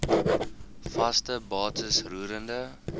vaste bates roerende